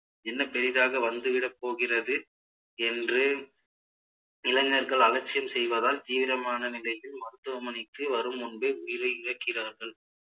என்ன பெரிதாக வந்துவிட போகிறது என்று இளைஞர்கள் அலட்சியம் செய்வதால் தீவிரமான நிலையில் மருத்துவமனைக்கு வரும் முன்பே உயிரை இழக்கிறார்கள்